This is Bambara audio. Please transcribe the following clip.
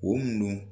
O mun don